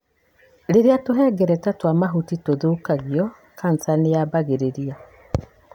Rĩrĩa tũhengereta twa mahũri tũthũkagio, kanca nĩ yambagĩrĩria.